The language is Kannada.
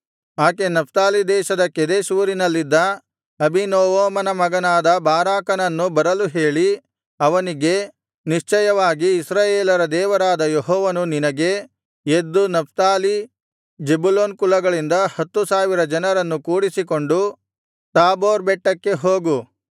ಆಕೆ ನಫ್ತಾಲಿ ದೇಶದ ಕೆದೆಷ್ ಊರಿನಲ್ಲಿದ್ದ ಅಬೀನೋವಮನ ಮಗನಾದ ಬಾರಾಕನನ್ನು ಬರಲು ಹೇಳಿ ಅವನಿಗೆ ನಿಶ್ಚಯವಾಗಿ ಇಸ್ರಾಯೇಲರ ದೇವರಾದ ಯೆಹೋವನು ನಿನಗೆ ಎದ್ದು ನಫ್ತಾಲಿ ಜೆಬುಲೂನ್ ಕುಲಗಳಿಂದ ಹತ್ತು ಸಾವಿರ ಜನರನ್ನು ಕೂಡಿಸಿಕೊಂಡು ತಾಬೋರ್ ಬೆಟ್ಟಕ್ಕೆ ಹೋಗು